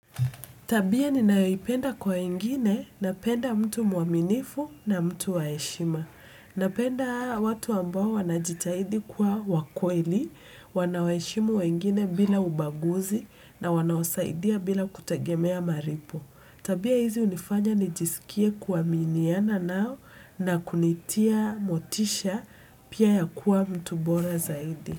Tabia ninayoipenda kwa wengine napenda mtu mwaminifu na mtu wa heshima. Napenda watu ambao wanajitahidi kuwa wa kweli, wanaweheshimu wengine bila ubaguzi na wanaosaidia bila kutegemea malipo. Tabia hizi hunifanya nijisikie kuaminiana nao na kunitia motisha pia ya kuwa mtu bora zaidi.